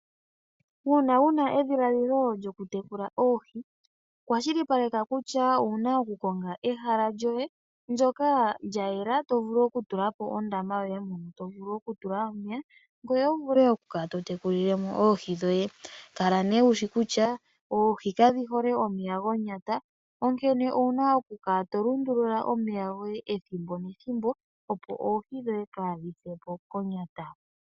Uuna wuna edhiladhilo lyokutekula oohi, kwashilipaleka kutya owuna oku konga ehala lyoye ndjoka lyayela tovulu oku tulapo ondama yoye mono tovulu okutulamo omeya ngweye wuvule oku kala totekulile mo oohi dhoye, kala ne wushi kutya oohi kadhihole momeya gonyata onkene owuna okukala yolundulula omeya goye ethimbo nethimbo opo oohi dhoye kadhisepo konyata.